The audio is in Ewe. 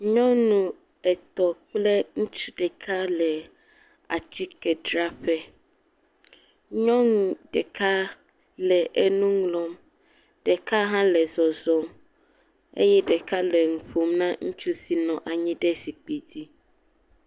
Ŋutsu ɖeka kple nyɔnu woame etɔ̃ le atikedzraƒe. Nyɔnu ɖeka le enu ŋlɔm, ɖeka hã le zɔzɔm eye ɖeka nɔ nu ƒom na ŋutsu si nɔ anyi le zikpidzi.